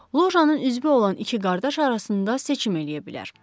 Locanın üzvü olan iki qardaş arasında seçim eləyə bilər.